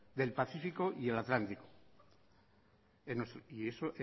del pacífico y el atlántico y eso